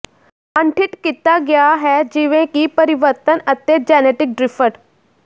ਅਣਡਿੱਠ ਕੀਤਾ ਗਿਆ ਹੈ ਜਿਵੇਂ ਕਿ ਪਰਿਵਰਤਨ ਅਤੇ ਜੈਨੇਟਿਕ ਡ੍ਰਿਫਟ